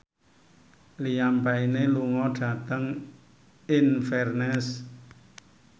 Liam Payne lunga dhateng Inverness